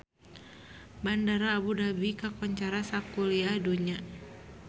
Bandara Abu Dhabi kakoncara sakuliah dunya